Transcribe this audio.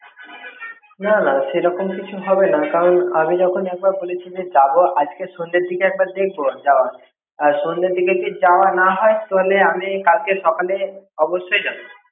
না না সেরকম কিছু হবে না, কারন আমি যখন এবার বলেছি যে যাবো আজকে সন্ধ্যের দিকে একবার দেখব যাবার, আর সন্ধের দিক এ যদি যাওয়া না হয় তাহলে কাল সকালে অবশ্যই যাব।